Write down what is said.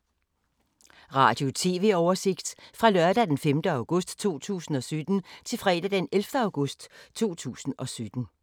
Radio/TV oversigt fra lørdag d. 5. august 2017 til fredag d. 11. august 2017